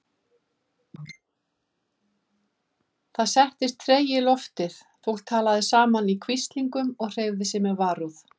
Það settist tregi í loftið, fólk talaði saman í hvíslingum og hreyfði sig með varúð.